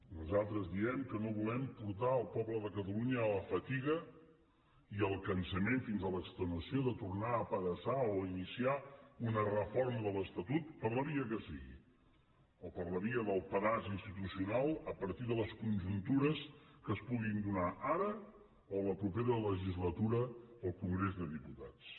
nosaltres diem que no volem portar el poble de catalunya a la fatiga i al cansament fins a l’extenuació de tornar a apedaçar o iniciar una reforma de l’estatut per la via que sigui o per la via del pedaç institucional a partir de les conjuntures que es puguin donar ara o a la propera legislatura al congrés dels diputats